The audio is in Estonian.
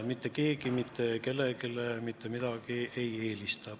Mitte keegi mitte kedagi kellelegi ei eelista.